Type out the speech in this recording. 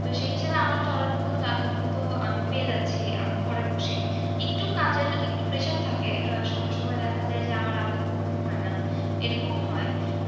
তো সেই হিসেবে আমার চলার মতো টাকা কিন্তু আমি পেয়ে যাচ্ছি আমার ঘরে বসেই একটু কাজের একটু pressure থাকে আহ সময় সময় দেখা যায় যে আমার রাতে ঘুম হয় না এরকম হয়।